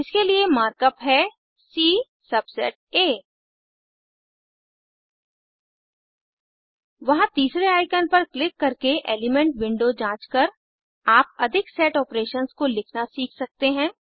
इसके लिए markup है सी सबसेट आ वहां तीसरे आइकन पर क्लिक करके एलिमेंट विंडो जाँच कर आप अधिक सेट ऑपरेशंस को लिखना सीख सकते हैं